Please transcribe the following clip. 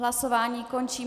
Hlasování končím.